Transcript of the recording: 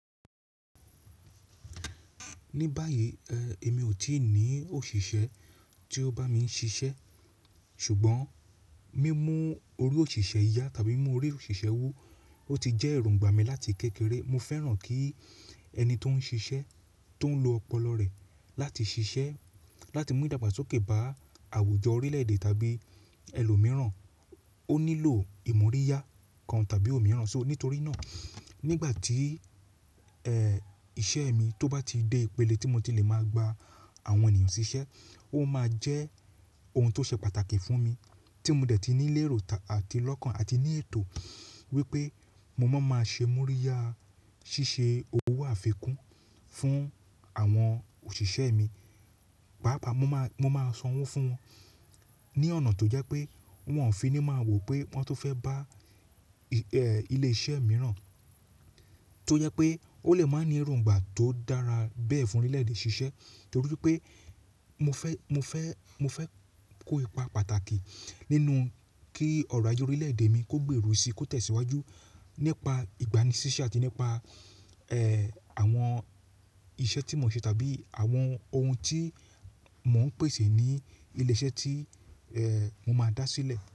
Ní báyìí, ẹ, èmi ò tí ì ní òṣìṣẹ́ tí ó bá mi ń ṣiṣẹ́ ṣùgbọ́n mímú orí òṣìṣẹ́ ìyá tàbí mímú orí òṣìṣẹ́ wu, ó ti jẹ́ èròǹgbà mi láti kékeré. Mo fẹ́ràn kí ẹni tó ń ṣiṣẹ́, tó ń lo ọpọlọ rẹ̀ láti ṣiṣẹ́, láti mú ìdàgbàsókè bá àwùjọ orílèèdè tàbí ẹlòmíràn, ó nílò ìmoríyá kan tàbí òmíràn ṣó. Nítorí náà nígbà tí, ẹ, iṣẹ́ mi tó bá ti dé ìpele tí mo ti le máa gba àwọn ènìyàn ṣiṣẹ́, ó máa jẹ́ ohun tó ṣe pàtàkì fún mi tí mo dẹ̀ ti nílẹ̀ èrò àti lọ́kàn àti ní ètò wípé mo máa máa ṣe moríyá ṣíṣe owó àfikún fún àwọn òṣìṣẹ́ mi. Páápàá mo máa, mo máa san owó fún wọn ní ọ̀nà tó jẹ́ pé wọn ò fi ní máa wò pé wọ́n tó fẹ́ bá, ẹ, ilé iṣẹ́ mìíràn tó jẹ́ pé ó lè máa ní èròǹgbà tó dára bẹ́ẹ̀ fún orílẹ̀ẹ̀dè ṣiṣẹ́. Nítorí pé mo fẹ́, mo fẹ́, mo fẹ́ kó ipa pàtàkì nínú kí ọ̀rọ̀ ayé orílẹ̀ẹ̀dè mi kó gbèrú si, kó tẹ̀síwájú nípa ìgbani ṣíṣẹ́ àti nípa, ẹ, àwọn iṣẹ́ tí mò ń ṣe tàbí àwọn ohun tí mò ń pèsè ní ilé iṣẹ́ tí, ẹ, mo máa dá sílẹ̀.